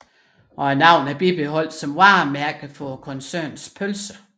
Navnet er bibeholdt som varemærke for koncernens pølser